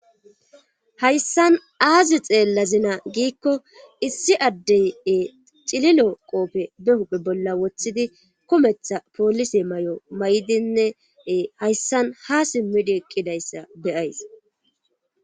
hayssan aazi xeellazina giikko issi addeye cililo qoope be huphe bolla woththidi kumetha poolise may7o may7dinne hayssan ha simmidi ekkidayssa be'ays